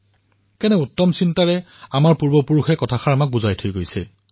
কেনে উত্তম ধৰণে এই বিষয়টো আমাৰ পূৰ্বজসকলে বুজাই থৈ গৈছে